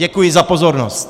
Děkuji za pozornost.